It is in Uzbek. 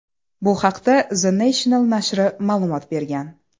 Bu haqda The National nashri ma’lumot bergan .